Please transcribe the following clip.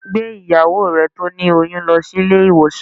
Gbé ìyàwó rẹ tí ó ní oyún lọ sí ilé ìwòsàn